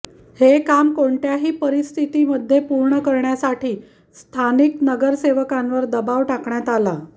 हे काम कोणत्याही परिस्थितीमध्ये पूर्ण करण्यासाठी स्थानिक नगरसेवकांवर दबाव टाकण्यात आला